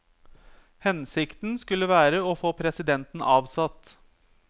Hensikten skulle være å få presidenten avsatt.